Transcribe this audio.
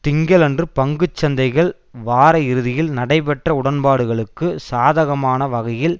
திங்களன்று பங்கு சந்தைகள் வார இறுதியில் நடைபெற்ற உடன்பாடுகளுக்கு சாதகமான வகையில்